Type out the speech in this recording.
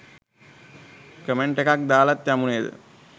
Comment එකක් දාලත් යමු නේද?